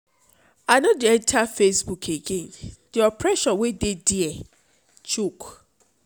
i no dey enter facebook again the oppression wey dey dia choke